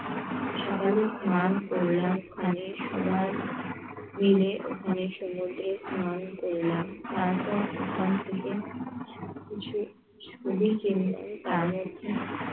সকালে স্নান করলাম স্নানের সময় নেমে ওখানে সুন্দর করে স্নান করলাম তারপর ওখান থেকে সবকিছু